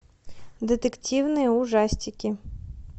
детективные ужастики